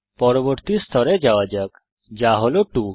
পরবর্তী স্তরে যাওয়া যাক যা হল 2